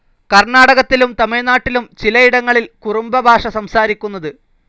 കർണ്ണാടകത്തിലും തമിഴ്നാട്ടിലും ചിലയിടങ്ങളിൽ കുറുംബ ഭാഷ സംസാരിക്കുന്നത്.